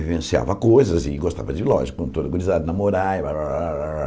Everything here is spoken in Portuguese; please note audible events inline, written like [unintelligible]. Vivenciava coisas e gostava de, lógico, quando, [unintelligible] namorar e rararara...